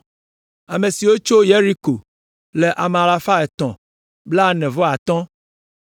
Ame siwo tso Yeriko le ame alafa etɔ̃ kple blaene-vɔ-atɔ̃ (345).